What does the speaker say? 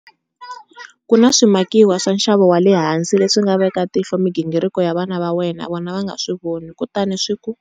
Ku na swimakiwa swa nxavo wa le hansi leswi nga veka tihlo migingiriko ya vana va wena vona va nga swi voni kutani swi ku.